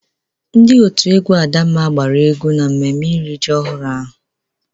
Ndị òtù egwú Adamma gbara egwú n'mmemme iri ji ọhụrụ ahụ.